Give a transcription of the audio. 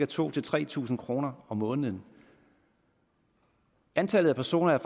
tusind tre tusind kroner om måneden antallet af personer